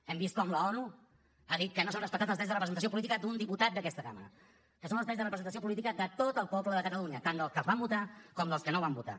hem vist com l’onu ha dit que no s’han respectat els drets de representació política d’un diputat d’aquesta cambra que són els drets de representació política de tot el poble de catalunya tant dels que el van votar com dels que no el van votar